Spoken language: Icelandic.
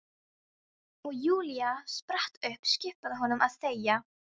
Og Júlía spratt upp, skipaði honum að þegja.